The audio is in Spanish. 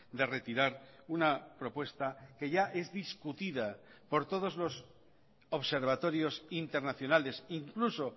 de retirar una propuesta que ya es discutida por todos los observatorios internacionales incluso